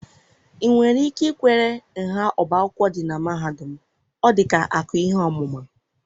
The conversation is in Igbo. ị nwere ike ikwere nha ọbá akwụkwọ dị na mahadum m? Ọ dị ka akụ ihe ọmụma.